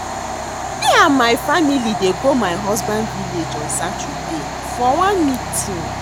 Me and my family dey go my husband village on Saturday for one meeting